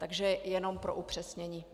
Tolik jenom pro upřesnění.